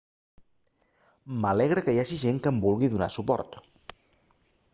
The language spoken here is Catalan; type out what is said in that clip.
m'alegra que hi hagi gent que em vulgui donar suport